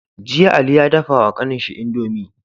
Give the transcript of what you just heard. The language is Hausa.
Jiya ali ya dafa wa kanin shi indomie